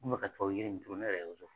An mɛ kakaho yiri nin turu ne yɛrɛ